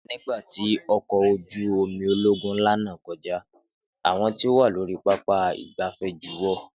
Nígbà tí ọkọ̀ ojú omi ológun ńlá náà kọjá, àwọn tí wọn wá lórí pápá ìgbafẹ́ juwọ́